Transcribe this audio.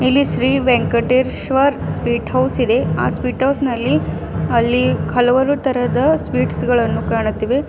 ಇಲ್ಲಿ Shri Venkateshwar sweet house ಇದೆ ಆ ಸ್ವೀಟ್ ಹೌಸ್ ನಲ್ಲಿ ಅಲ್ಲಿ ಹಲವಾರು ತರಹದ ಸ್ವೀಟ್ಸ್ ಗಳನ್ನು ಕಾಣುತ್ತಿವೆ.